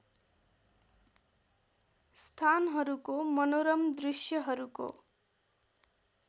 स्थानहरूको मनोरम दृश्यहरूको